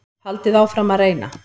Haldið áfram að reyna.